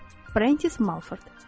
Brendis Malford.